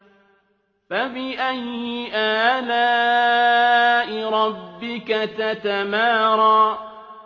فَبِأَيِّ آلَاءِ رَبِّكَ تَتَمَارَىٰ